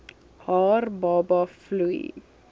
haar baba vloei